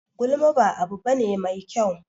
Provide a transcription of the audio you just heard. Gulma ba abu bane mai kyau.